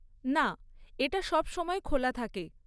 না, এটা সবসময় খোলা থাকে।